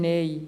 Nein.